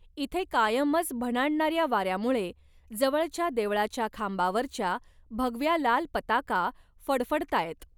इथे कायमच भणाणणाऱ्या वाऱ्यामुळे जवळच्या देवळाच्या खांबावरच्या भगव्या लाल पताका फडफडताहेत.